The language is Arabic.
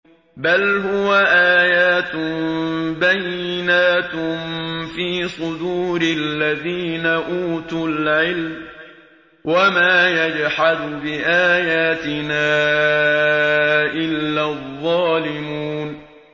بَلْ هُوَ آيَاتٌ بَيِّنَاتٌ فِي صُدُورِ الَّذِينَ أُوتُوا الْعِلْمَ ۚ وَمَا يَجْحَدُ بِآيَاتِنَا إِلَّا الظَّالِمُونَ